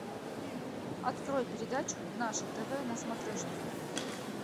открой передачу наше тв на смотрешке